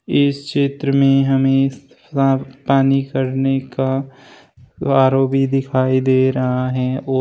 इस चित्र में हमें साफ पानी करने का आर_ओ भी दिखाई दे रहा है और --